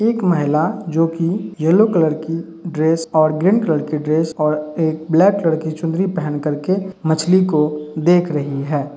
एक महिला जोकि येलो कलर की ड्रेस और ग्रीन कलर की ड्रेस ओर एक ब्लैक लड़की चुंदरी पहन कर के मछली को देख रही है।